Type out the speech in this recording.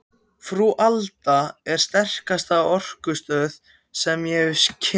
Frú Alda er sterkasta orkustöð sem ég hef kynnst.